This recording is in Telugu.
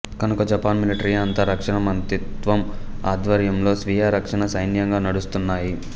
కనుక జపాన్ మిలిటరీ అంతా రక్షణ మంత్రిత్వం అధ్వర్యంలో స్వీయ రక్షణా సైన్యంగా నడుస్తున్నాయి